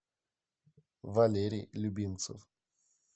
валерий любимцев